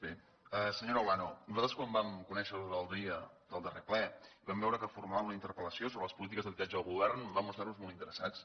bé senyora olano nosaltres quan vam conèixer l’ordre del dia del darrer ple i vam veure que formulava una interpel·lació sobre les polítiques d’habitatge del govern vam mostrar nos hi molt interessats